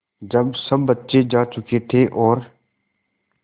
जब सब बच्चे जा चुके थे और